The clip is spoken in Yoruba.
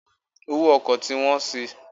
Owó ọkọ̀ ti wọ́n si.